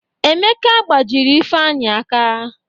Emeka gbajiri Ifeanyị aka.